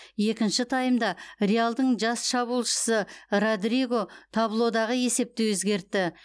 екінші таймда реалдың жас шабуылшысы родриго таблодағы есепті өзгертті